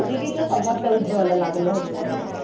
विविध समस्या उदभव ला लागल्या होत्या